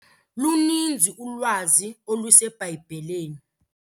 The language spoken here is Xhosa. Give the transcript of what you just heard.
Luninzi ulwazi oluseBhayibhileni.